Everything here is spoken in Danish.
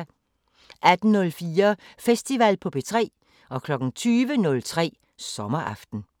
18:04: Festival på P3 20:03: Sommeraften